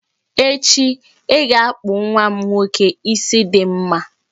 Echi, I ga-akpụ nwa m nwoke isi dị mma